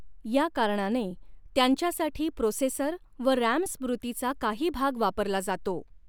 या कारणाने त्यांच्यासाठी प्रोसेसर व रॅम स्मृती चा काही भाग वापरला जातो.